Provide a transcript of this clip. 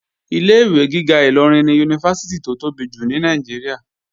Ilé-ìwé gíga Ìlọrin ni Yunifásítì tó tóbi jù ní Nàìjíríà